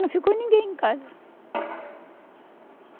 Não ficou ninguém em casa.